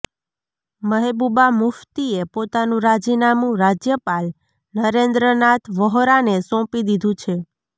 મહેબુબા મુફ્તીએ પોતાનું રાજીનામું રાજ્યપાલ નરેન્દ્ર નાથ વહોરાને સોંપી દીધું છે